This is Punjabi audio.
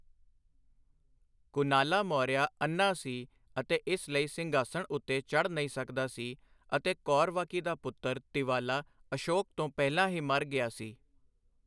ਕੁਨਾਲਾ ਮੌਰਿਆ ਅੰਨ੍ਹਾ ਸੀ ਅਤੇ ਇਸ ਲਈ ਸਿੰਘਾਸਣ ਉੱਤੇ ਚੜ੍ਹ ਨਹੀਂ ਸਕਦਾ ਸੀ ਅਤੇ ਕੌਰਵਾਕੀ ਦਾ ਪੁੱਤਰ ਤਿਵਾਲਾ, ਅਸ਼ੋਕ ਤੋਂ ਪਹਿਲਾਂ ਹੀ ਮਰ ਗਿਆ ਸੀ।